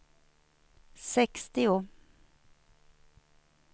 sextio